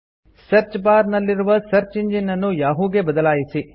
search bar ನಲ್ಲಿರುವ search engine ನನ್ನು Yahoo ಗೆ ಬದಲಾಯಿಸಿ